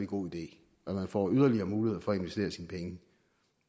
god idé at man får yderligere mulighed for at investere sine penge